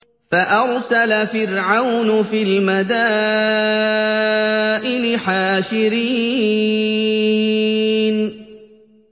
فَأَرْسَلَ فِرْعَوْنُ فِي الْمَدَائِنِ حَاشِرِينَ